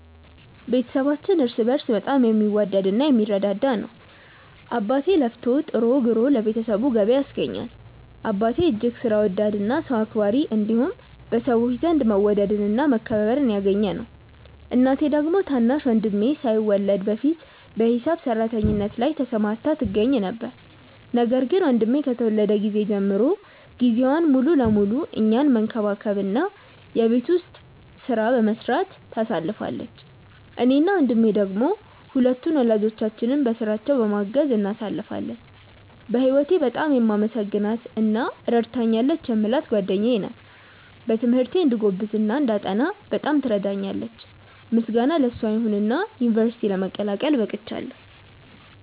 ቤተሰባችን እርስ በእርስ በጣም የሚዋደድ እና የሚረዳዳ ነው። አባቴ ለፍቶ ጥሮ ግሮ ለቤተሰቡ ገቢ ያስገኛል። አባቴ እጅግ ሥራ ወዳድ እና ሰው አክባሪ እንዲሁም በሰዎች ዘንድ መወደድን እና መከበርን ያገኘ ሰው ነው። እናቴ ደግሞ ታናሽ ወንድሜ ሳይወለድ በፊት በሂሳብ ሰራተኝነት ላይ ተሰማርታ ትገኛ ነበር፤ ነገር ግን ወንድሜ ከተወለደ ጊዜ ጀምሮ ጊዜዋን ሙሉ ለሙሉ እኛን መንከባከብ እና የቤት ውስጡን ሥራ በመስራት ታሳልፋለች። እኔ እና ወንድሜ ደሞ ሁለቱን ወላጆቻችንን በሥራቸው በማገዝ እናሳልፋለን። በህወቴ በጣም የማመሰግናት እና ረድታኛለች የምላት ጓደኛዬ ናት። በትምህርቴ እንድጎብዝ እና እንዳጠና በጣም ትረዳኛለች። ምስጋና ለሷ ይሁንና ዩንቨርስቲ ለመቀላቀል በቅቻለው።